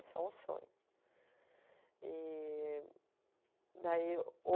Isso é um sonho. E daí